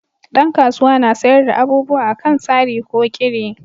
Dan kasuwa na sayar da abubuwa a kan sari ko kiri